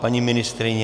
Paní ministryně?